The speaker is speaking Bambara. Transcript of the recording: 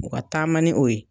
taama ni o ye.